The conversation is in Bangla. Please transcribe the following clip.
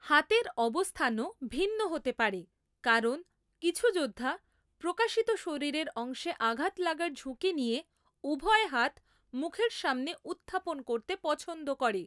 হাতের অবস্থানও ভিন্ন হতে পারে, কারণ কিছু যোদ্ধা প্রকাশিত শরীরের অংশে আঘাত লাগার ঝুঁকি নিয়ে উভয় হাত মুখের সামনে উত্থাপন করতে পছন্দ করে।